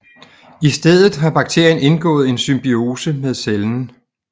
I stedet har bakterien indgået en symbiose med cellen